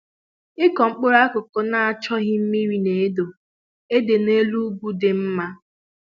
Ịkụ mkpụrụ akụkụ na-achọghị mmiri na-adọ adọ n'elu ugwu dị mma